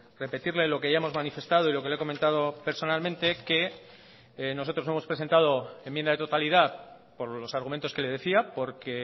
repetirle lo que ya hemos manifestado y lo que le he comentado personalmente que nosotros hemos presentado enmienda de totalidad por los argumentos que le decía porque